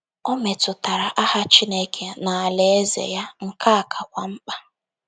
O metụtara aha Chineke na alaeze ya, nke a kakwa mkpa.